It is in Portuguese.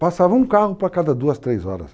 Passava um carro para cada duas, três horas.